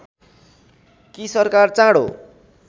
कि सरकार चाँडो